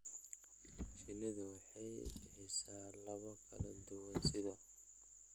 Shinnidu waxay bixisaa alaabo kala duwan sida